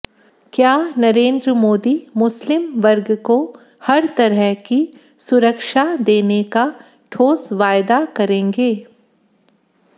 क्या नरेन्द्र मोदी मुस्लिम वर्ग को हर तरह की सुरक्षा देने का ठोस वायदा करेगें